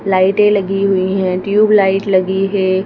लाइटें लगी हुई हैं ट्यूब लाइट लगी है।